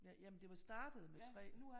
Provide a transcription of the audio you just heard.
Ja jamen det var startet med 3